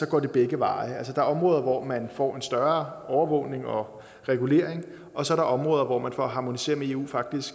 går begge veje altså der er områder hvor man får en større af overvågning og regulering og så er der områder hvor man for at harmonisere med eu faktisk